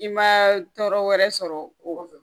I ma tɔɔrɔ wɛrɛ sɔrɔ o la